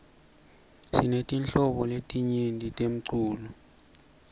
sinetinhlobo letinyenti temcuco